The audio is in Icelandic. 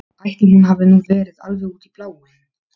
Ætli hún hafi nú verið alveg út í bláinn.